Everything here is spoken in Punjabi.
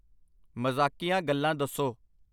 ਮਜ਼ਾਕੀਆ ਗੱਲਾਂ ਦੱਸੋ।